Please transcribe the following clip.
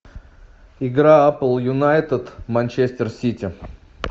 игра апл юнайтед манчестер сити